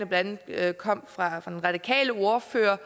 blandt andet kom fra den radikale ordfører